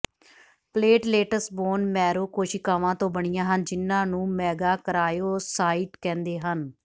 platelets bone marrow ਕੋਸ਼ੀਕਾਵਾਂ ਤੋਂ ਬਣੀਆਂ ਹਨ ਜਿਨ੍ਹਾਂ ਨੂੰ ਮੇਗਾਕਰਾਇਓਸਾਈਟ ਕਹਿੰਦੇ ਹਨ